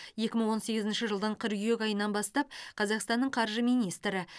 екі мың он сегізінші жылдың қыркүйек айынан бастап қазақстанның қаржы министрі